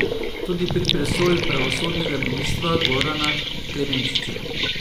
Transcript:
Tudi pri presoji pravosodnega ministra Gorana Klemenčiča.